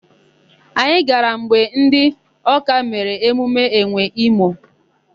Anyị gara mgbe ndị Ọ́ká mere emume enwe imo.